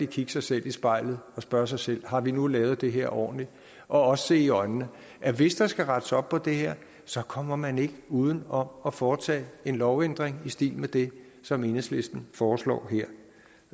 kigge sig selv i spejlet og spørge sig selv har vi nu lavet det her ordentligt og også se i øjnene at hvis der skal rettes op på det her så kommer man ikke uden om at foretage en lovændring i stil med det som enhedslisten foreslår